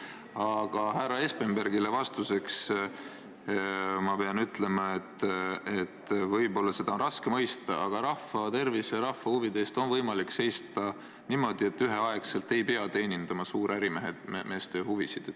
Aga härra Espenbergile vastuseks ma pean ütlema, et võib-olla seda on raske mõista, aga rahva tervise ja rahva huvide eest on võimalik seista niimoodi, et üheaegselt ei pea teenindama suurärimeeste huvisid.